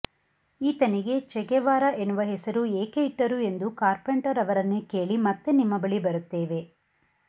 ಈತನಿಗೆ Che Guevara ಎನ್ನುವ ಹೆಸರು ಏಕೆ ಇಟ್ಟರು ಎಂದು ಕಾರ್ಪೆಂಟರ್ ಅವರನ್ನೇ ಕೇಳಿ ಮತ್ತೆ ನಿಮ್ಮ ಬಳಿ ಬರುತ್ತೇವೆ